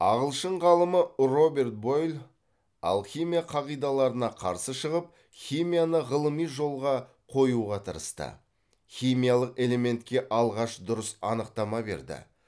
ағылшын ғалымы роберт бойль алхимия қағидаларына қарсы шығып химияны ғылыми жолға қоюға тырысты химиялық элементке алғаш дұрыс анықтама берді